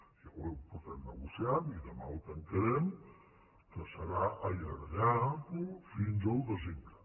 ja ho portem negociant i demà ho tancarem que serà allargar ho fins al desembre